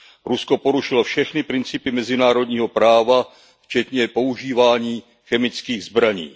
Rusko porušilo všechny principy mezinárodního práva včetně používání chemických zbraní.